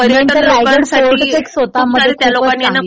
रायगड स्वतः मध्ये खूप चांगली आहे.